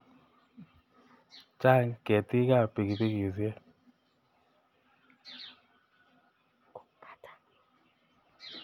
Chang' ketiik ap pikipikisyek .